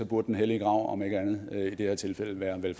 den hellige grav om ikke andet i det her tilfælde være vel